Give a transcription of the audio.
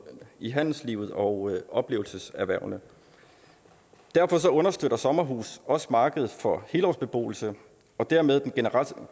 i handelslivet og oplevelseserhvervene derfor understøtter sommerhuse også markedet for helårsbeboelse og dermed den